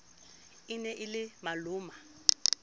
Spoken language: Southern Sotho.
e ne e le maloma